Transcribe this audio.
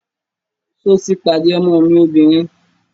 Sọ ti pàdé ọmọ mi obìnrin?